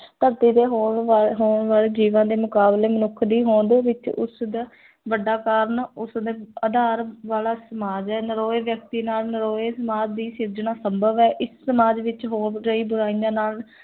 ਧਰਤੀ ਤੇ ਹੋਣ ਵਾਲੇ ਹੋਣ ਵਾਲੇ ਜੀਵਾਂ ਦੇ ਮੁਕਾਬਲੇ ਮਨੁੱਖ ਦੀ ਹੋਂਦ ਵਿੱਚ ਉਸਦਾ ਵੱਡਾ ਕਾਰਣ ਉਸਦੇ ਆਧਾਰ ਵਾਲਾ ਸਮਾਜ ਹੈ, ਨਿਰੋਏ ਵਿਅਕਤੀ ਨਾਲ ਨਿਰੋਏ ਸਮਾਜ ਦੀ ਸਿਰਜਣਾ ਸੰਭਵ ਹੈ, ਇਸ ਸਮਾਜ ਵਿੱਚ ਹੋ ਰਹੀ ਬੁਰਾਈਆਂ ਨਾਲ